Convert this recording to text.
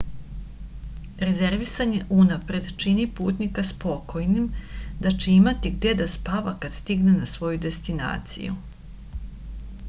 rezervisanje unapred čini putnika spokojnim da će imati gde da spava kad stigne na svoju destinaciju